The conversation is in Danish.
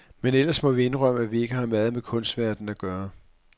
Men ellers må vi jo indrømme, at vi ikke har meget med kunstverdenen at gøre.